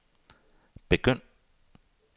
begynd